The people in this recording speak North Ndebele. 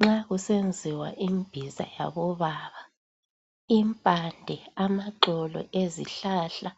Nxa kusenziwa imbiza yabobaba impande amaxolo ezihlahla